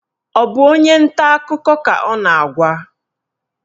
Ọ bụ onye nta akụkọ ka ọ na-agwa?